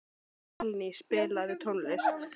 Valný, spilaðu tónlist.